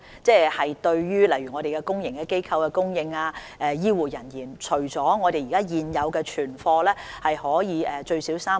針對公營機構及醫護人員等的需要，我們現有的存貨足夠使用最少3個月。